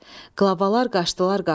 Qlavalar qaçdılar qapıya.